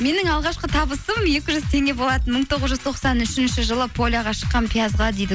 менің алғашқы табысым екі жүз теңге болатын мың тоғыз жүз тоқсан үшінші жылы поляға шыққанмын пиязға дейді